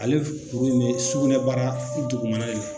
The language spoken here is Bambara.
Ale kuru in be sugunɛbara dugumana de la